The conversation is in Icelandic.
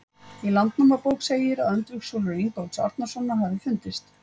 Í Landnámabók segir að öndvegissúlur Ingólfs Arnarsonar hafi fundist.